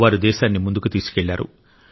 వారు దేశాన్ని ముందుకు తీసుకెళ్లారు